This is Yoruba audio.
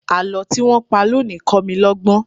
Àlọ́ tí wọ́n pa lónìí kọ́ mi lọ́gbọ́n.